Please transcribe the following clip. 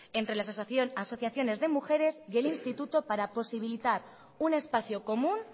entre las asociaciones de mujeres y el instituto para posibilitar un espacio común